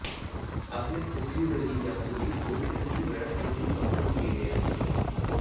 आपल्या पृथ्वीवरही यापूर्वी दोन ते तीन वेळा हिमयुग अवतरून गेले आहे